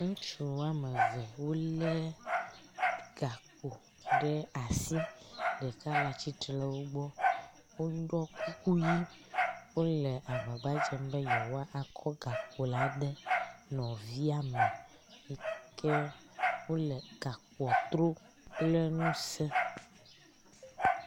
Ŋutsu wɔme eve wo le gakpo ɖe asi. Ɖeka le atsitre nu woɖɔ kuku ʋi wo le agbagbadzem be yewoakɔ gakpo la ade nɔvia me yi ke wo le gakpoa trom kple ŋuse.